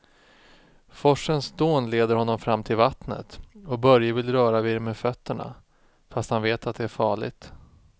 Forsens dån leder honom fram till vattnet och Börje vill röra vid det med fötterna, fast han vet att det är farligt.